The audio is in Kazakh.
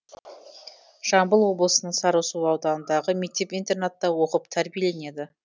жамбыл облысының сарысу ауданындағы мектеп интернатта оқып тәрбиеленеді